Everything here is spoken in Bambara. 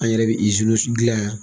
An' yɛrɛ be iziniw sun dilan yan